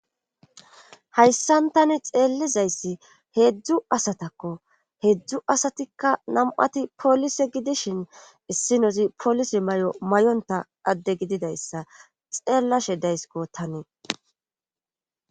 hayssan tani xeellizayssi heedzdzu asatakko heedzdzu asatikka nam7ati polise gidishin issi nozi polise may7o may7onta adde gididayssa xeellashe daysiko tanii